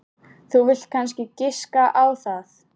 Þú vilt kannski giska á það.